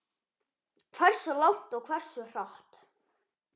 Hversu langt og hversu hratt.